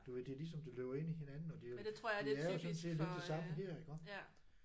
Du ved det er lige som det løber ind i hinanden og det jo det er jo sådan set lidt det samme her iggå